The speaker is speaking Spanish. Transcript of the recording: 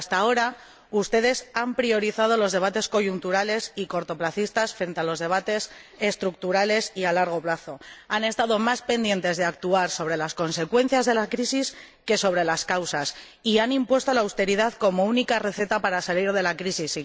Pero, hasta ahora, ustedes han priorizado los debates coyunturales y cortoplacistas frente a los debates estructurales y a largo plazo, han estado más pendientes de actuar sobre las consecuencias de la crisis que sobre las causas y han impuesto la austeridad como única receta para salir de la crisis.